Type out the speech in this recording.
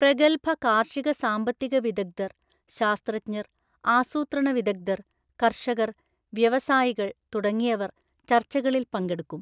പ്രഗൽഭ കാർഷിക സാമ്പത്തികവിദഗ്ധർ, ശാസ്ത്രജ്ഞർ, ആസൂത്രണവിദഗധർ, കർഷകർ, വ്യവസായികൾ തുടങ്ങിയവർ ചർച്ചകളിൽ പങ്കെടുക്കും.